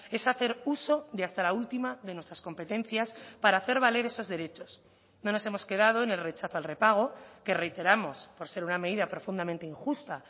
es hacer uso de hasta la última de nuestras competencias para hacer valer esos derechos no nos hemos quedado en el rechazo al repago que reiteramos por ser una medida profundamente injusta